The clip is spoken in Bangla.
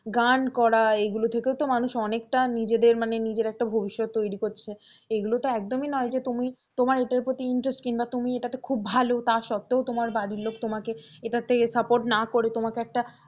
গান করা এগুলো থেকেও তো মানুষ অনেকটা নিজেদের মানে নিজের একটা ভবিষ্যৎ তৈরি করছে এগুলো তো একদমই নয় যে তুমি তোমার এটার প্রতি interest কিংবা তুমি এটাতে খুব ভালো তার সত্তেও তোমার বাড়ির লোক তোমাকে এটার থেকে support না করে তোমাকে একটা,